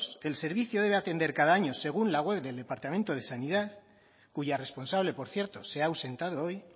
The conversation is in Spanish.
el servicio debe atender cada año según la web del departamento de sanidad cuya responsable por cierto se ha ausentado hoy